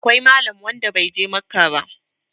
akwai Malam wnada bai je Makka ba